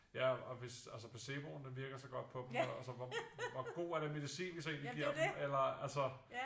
Ja og hvis altså placeboen den virker så godt på dem så altså hvor god er den medicin vi så egentligt giver dem eller altså